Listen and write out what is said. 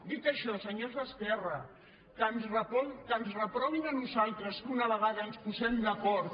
dit això senyors d’esquerra que ens reprovin a nosaltres que una vegada que ens posem d’acord